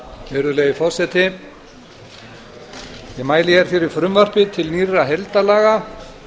virðulegi forseti ég mæli fyrir frumvarpi til nýrra heildarlaga